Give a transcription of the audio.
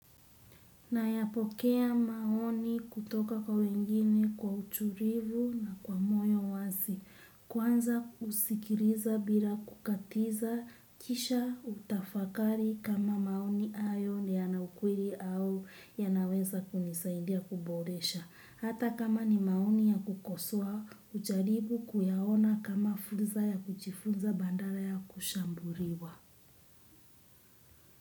Nayapokea maoni kutoka kwa wengine kwa utulivu na kwa moyo wazi. Kwanza husikiliza bila kukatiza kisha hutafakari kama maoni hayo ni yana ukweli au yanaweza kunisaidia kuboresha. Hata kama ni maoni ya ku kosoa, hujaribu kuyaona kama fursa ya kujifunza badala ya kushambuliwa.